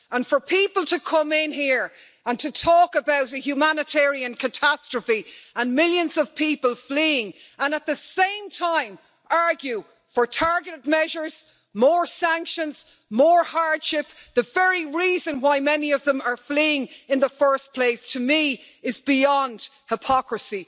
For people to come in here and to talk about a humanitarian catastrophe, with millions of people fleeing, and at the same time argue for targeted measures, more sanctions and more hardship the very reason why many of them are fleeing in the first place is beyond hypocrisy.